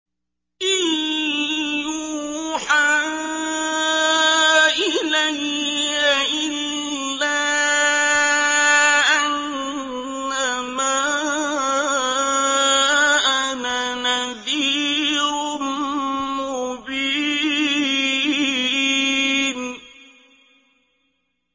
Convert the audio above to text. إِن يُوحَىٰ إِلَيَّ إِلَّا أَنَّمَا أَنَا نَذِيرٌ مُّبِينٌ